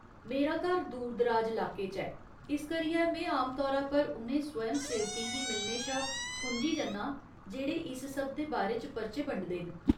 मेरा घर दूर दराज लाके च ऐ, इस करियै में आमतौरा पर उ'नें स्वयंसेवकें गी मिलने शा खुंझी जन्नां जेह्ड़े इस सब दे बारे च पर्चे बंडदे न।